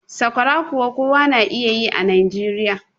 sakwara kuwa kowa yana yi a Najeriya